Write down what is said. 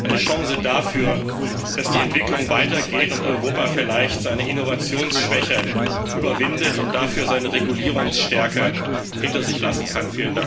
Eine Chance dafür, dass die Entwicklung weitergeht und Europa vielleicht seine Innovationsschwäche überwindet und dafür seine Regulierungsstärke hinter sich lassen kann.